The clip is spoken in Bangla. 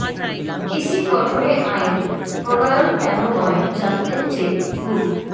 ইসি গঠনে আইন প্রণয়ন কেন নয় জানতে চেয়ে রুল